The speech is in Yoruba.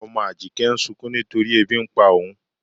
Ọmọ Ájíkẹ̀ ǹ sùnkún nítorí èbí n pá óun.